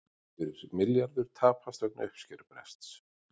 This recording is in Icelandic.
Yfir milljarður tapast vegna uppskerubrests